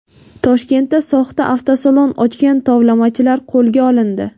Toshkentda soxta avtosalon ochgan tovlamachilar qo‘lga olindi.